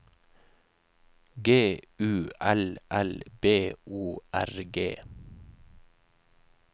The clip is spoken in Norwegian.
G U L L B O R G